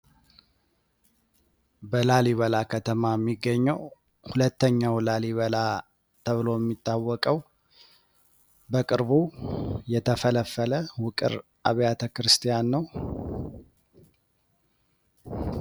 በላሊበላ ከተማ የሚገኘው ሁለተኛው ላሊበላ ተብሎ የሚታወቀው በቅርቡ የተፈለፈለ ውቅር አብያተ ክርስቲያን ነው።